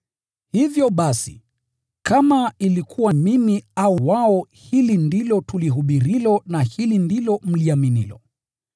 Hivyo basi, kama ilikuwa mimi au wao, hili ndilo tunalohubiri, na hili ndilo mliloamini.